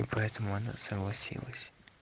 и поэтому она согласилась